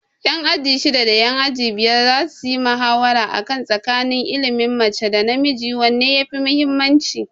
Ƴan aji shidda da ƴan aji biyar za suyi muhawara a kan tsakanin ilimin mace da namiji wanne yafi muhimmanci.